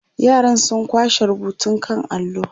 yaran sun kwashe rubutun kan allo